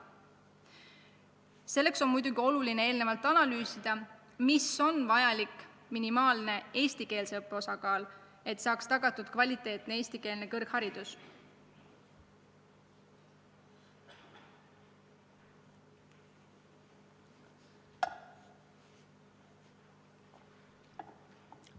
Selleks on muidugi oluline eelnevalt analüüsida, kui suur on vajalik minimaalne eestikeelse õppe osakaal, et oleks tagatud kvaliteetne eestikeelne kõrgharidus.